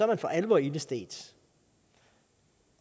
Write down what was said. man for alvor ilde stedt